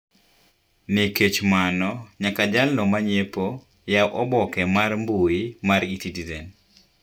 Nikech mano nyaka jal no manyiepo nyaka yaw oboke mar mbuyi mar e-citizen.